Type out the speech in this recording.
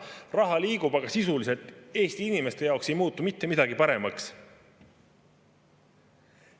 Raha liigub, aga sisuliselt Eesti inimeste jaoks ei muutu mitte midagi paremaks.